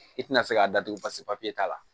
I tina se k'a datugu pasi papiye t'a la